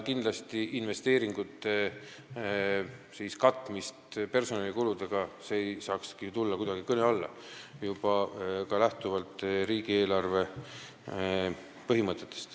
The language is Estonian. Kindlasti ei saa investeeringute katmine personalikuludega tulla kuidagi kõne alla, seda juba lähtuvalt riigieelarve põhimõtetest.